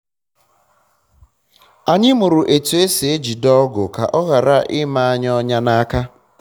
anyị mụrụ etu esi ejide ọgụ ka ọ ghara ime anyị ọnya na aka